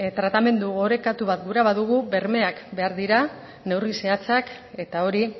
tratamendu orekatua gura badugu bermeak behar dira neurri zehatzak eta hori